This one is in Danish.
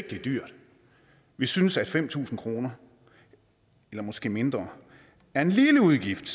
det er dyrt vi synes at fem tusind kroner eller måske mindre er en lille udgift